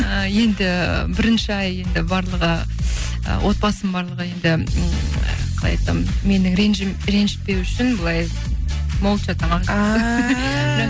ы енді бірінші ай енді барлығы отбасым барлығы енді қалай айтсам мені ренжітпеу үшін былай молча тамақ ааа